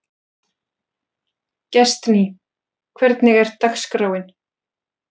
Gestný, hvernig er dagskráin?